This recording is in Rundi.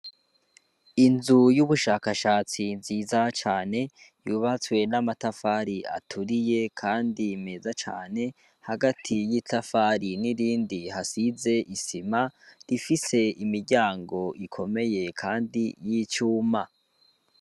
Inzu y'ubushakashatsi nziza cane yubatswe n'amatafari aturiye, kandi meza cane hagati y'itafari n'irindi hasize isima rifise imiryango ikomeye, kandi y'icuma.